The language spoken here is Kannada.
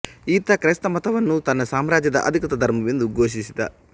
ಈತ ಕ್ರೈಸ್ತಮತ ವನ್ನು ತನ್ನ ಸಾಮ್ರಾಜ್ಯದ ಅಧಿಕೃತ ಧರ್ಮವೆಂದು ಘೋಷಿಸಿದ